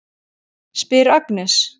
spyr Agnes.